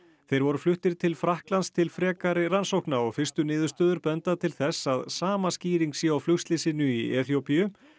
þeir voru fluttir til Frakklands til frekari rannsókna og fyrstu niðurstöður benda til þess að sama skýring sé á flugslysinu í Eþíópíu